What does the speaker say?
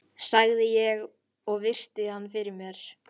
sagði ég og virti hann fyrir mér.